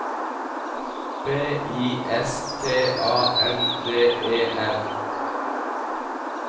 B I S T A N D E N